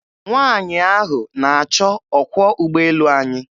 Nwanyị ahụ na-achọ ọkwọ ụgboelu anyị.